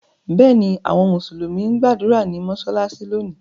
Bẹ́ẹ̀ ni, àwọn Mùsùlùmí ń gbàdúrà ní mọ́ṣáláṣí lónìí.